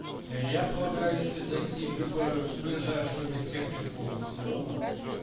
я полагаю если зайти в любой ближайшую медтехнику возле дома